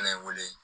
Ne ye n wele